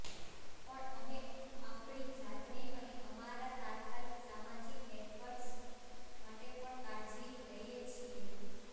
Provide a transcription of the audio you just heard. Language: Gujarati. પણ અમે આપણી જાતને અને અમારા તાત્કાલિક સામાજિક નેટવર્ક્સ માટે પણ કાળજી લઈએ છીએ